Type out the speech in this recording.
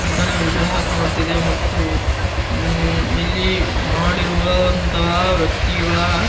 ಬುದ್ಧನ ವಿಗ್ರಹ ಕಾಣುತ್ತಿದೆ ಮತ್ತು ಉಹ್ ಇಲ್ಲಿ ಮಾಡಿರುವಂತಹ ವ್ಯಕ್ತಿಗಳ --